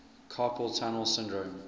carpal tunnel syndrome